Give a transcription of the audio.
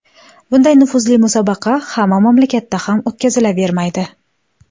Bunday nufuzli musobaqa hamma mamlakatda ham o‘tkazilavermaydi.